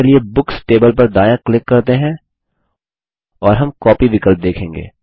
यहाँ books table पर दायाँ क्लिक करते हैं और हम कॉपी विकल्प देखेंगे